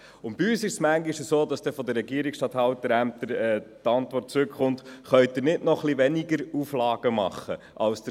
Bei uns ist es manchmal so, dass die Regierungsstatthalterämter in ihrer Antwort fragen, ob man nicht noch etwas weniger Auflagen machen könne.